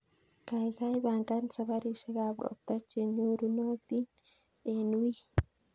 Kaikai pangan saparishek ab ropta chenyorunotin en wiiy